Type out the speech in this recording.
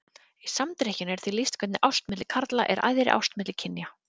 Í Samdrykkjunni er því lýst hvernig ást milli karla er æðri ást milli kynja.